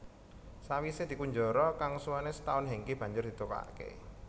Sawisé dikunjara kang suwené setaun Hengky banjur ditokake